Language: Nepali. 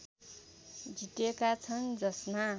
जितेका छन् जसमा